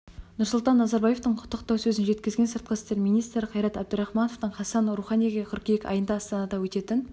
нұрсұлтан назарбаевтың құттықтау сөзін жеткізген сыртқы істер министрі қайрат әбдірахманов хасан руханиге қыркүйек айында астанада өтетін